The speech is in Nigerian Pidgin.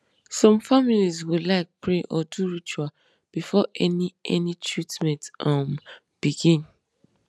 some families go like pray or do ritual before any any treatment um begin